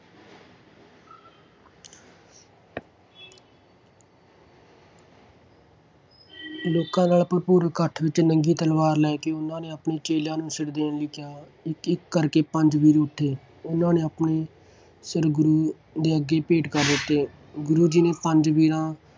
ਲੋਕਾਂ ਨਾਲ ਭਰਪੂਰ ਇਕੱਠ ਵਿਚ ਨੰਗੀ ਤਲਵਾਰ ਲੈ ਕੇ ਉਹਨਾਂ ਨੇ ਆਪਣੇ ਚੇਲਿਆਂ ਨੂੰ ਸਿਰ ਦੋਣ ਲਈ ਕਿਹਾ ਸੀ। ਇਕ-ਇਕ ਕਰ ਕੇ ਪੰਜ ਵੀਰ ਉਠੇ ਅਤੇ ਉਹਨਾਂ ਆਪਣੇ ਸਿਰ ਗੁਰੂ ਦੇ ਅੱਗੇ ਭੇਟ ਕਰ ਦਿੱਤੇ। ਗੁਰੂ ਜੀ ਨੇ ਪੰਜਾਂ ਵੀਰਾਂ